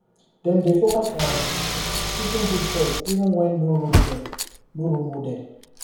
dem dey focus on teaching good choice even when no role model no role model